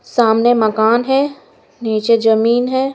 सामने मकान है नीचे जमीन है।